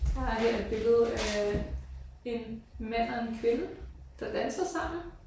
Så har jeg her et billede øh en mand og en kvinde der danser sammen